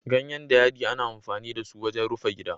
Ganyen dayadii ana amfani da su wajen rufe gidaje.